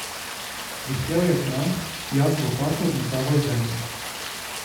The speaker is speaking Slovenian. Vihtel je kramp, jaz z lopato odmetaval zemljo.